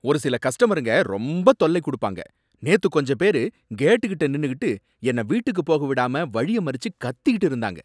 ஒரு சில கஸ்டமருங்க ரொம்ப தொல்லை கொடுப்பாங்க. நேத்து, கொஞ்ச பேரு கேட்கிட்ட நின்னுக்கிட்டு, என்ன வீட்டுக்கு போக விடாம வழிய மறிச்சு கத்திட்டு இருந்தாங்க!